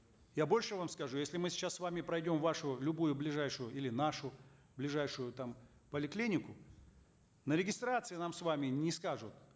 я больше вам скажу если мы сейчас с вами пройдем в вашу любую ближайшую или нашу ближайшую там поликлинику на регистрации нам с вами не скажут